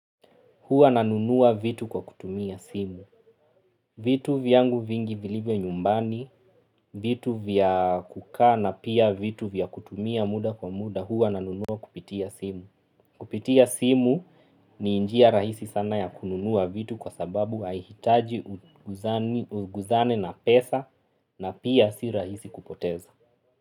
Hua nanunuwa vitu kwa kutumia simu. Vitu vyangu vingi vilivyo nyumbani, vitu vya kukaa na pia vitu vya kutumia muda kwa muda, hua nanunuwa kupitia simu. Kupitia simu ni njia rahisi sana ya kununuwa vitu kwa sababu haihitaji uguzane na pesa na pia si rahisi kupoteza.